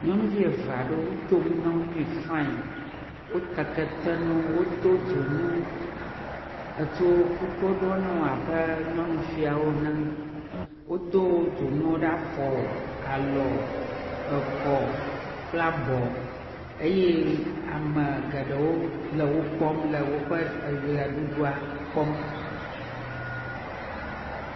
Nyɔnuvi eve aɖewo, wodo nu na wo fain, wota kete na wo, wodo dzonu etsɔ kuku ɖɔ na wo abe nyɔnufiae wonye ene, wodo dzonu afɔ, alɔ, ekɔ kple abɔ, eye ame geɖewo le wo kpɔm le woƒe eʋeɖuɖua kpɔm.